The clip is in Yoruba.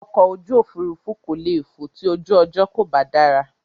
Ọkọ̀ ojú òfurufú kò le fò ti ojú ọjọ́ kò bá dára.